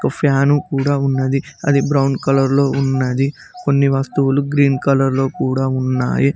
Fan కూడా ఉన్నది అది బ్రౌన్ కలర్ లో ఉన్నది కొన్ని వస్తువులు గ్రీన్ కలర్ లో కూడా ఉన్నాయి.